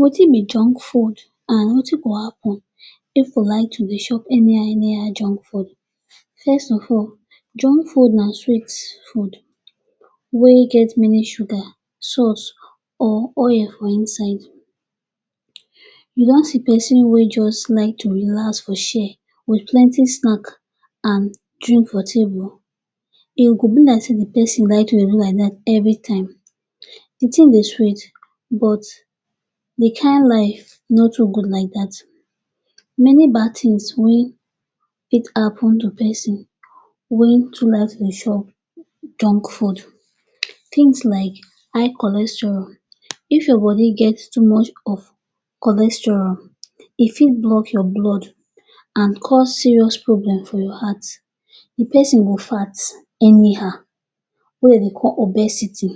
Wetin be junk food and wetin go happun if we like to dey chop anyhow anyhow junk food First of all, junk food na sweet food wey get many sugar, sauce or oil for inside. You don see pesin wey just like to relax for chair wit plenty snack and drink for table, e go be like say di pesin like to do like dat evri time. Di tin dey sweet but di kain life no too good like dat. Many bad tins wey fit happun to pesin wey too like to chop junk food. Tins like di high cholesterol. If your body get too much of cholesterol, e fit block your blood and cause serious problem for your heart. Di pesin go fat anyhow wey dem dey call obesity.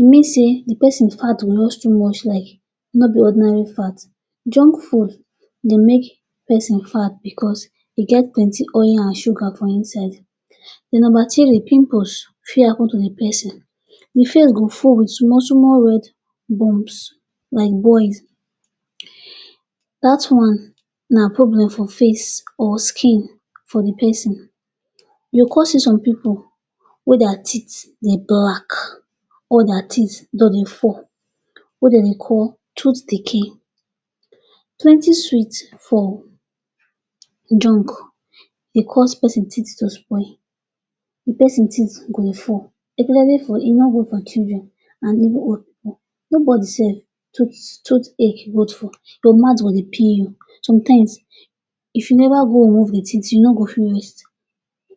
E mean say di pesin fat go just too much like no be ordinary fat. Junk food dey make pesin fat bicos e get plenty oil and sugar for inside. Di number three, pimples fit happun to di pesin. Di face go full wit small-small red bums like boils. Dat one na problem for face or skin for di pesin. You come see some pipu wey dia teeth dey black, all di teeth just dey fall wey dem dey call tooth decay. Plenty sweets for junk dey cause pesin teeth to spoil. Di pesin teeth go dey fall especially for children and even old pipu. Nobody sef tooth ache good for. Your mouth go dey pain you. Somtime, if you never go remove di teeth, you no go fit rest.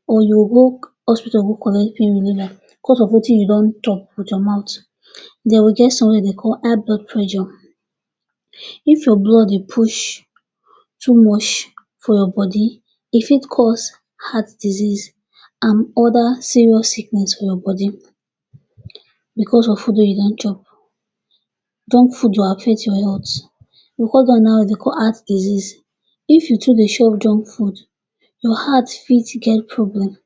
Or you go go hospital go collect pain reliver bicos of wetin you don chop wit your mouth. Den we get somtin wey we dey call high blood pressure. If your blood dey push too much for your body, e fit cause heart disease and other serious sickness for your body bicos of food wey you don chop. Junk food go affect your health bicos dem now dey go come add disease. If you too dey chop junk food, your heart fit get problem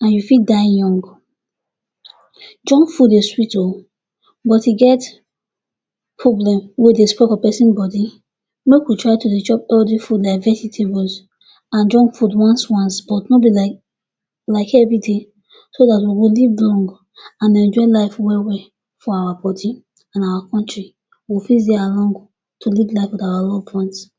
and you fit die young. Junk food dey sweet o, but e get problem wey dey spoil for pesin body. Make we try to dey chop healthy food like vegetables and junk food once-once. No be like evri day, so dat we go live long and enjoy life well well for our body and our kontri. We go fit dey alive to live life wit our loved ones